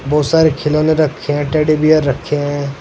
बहोत सारे खिलौने रखे हैं टेडी बेयर रखे हैं।